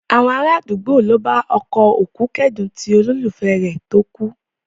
Àwọn ará àdúgbò ló bá ọkọ òkú kẹ́dùn ti olólùfẹ́ rẹ̀ tó kú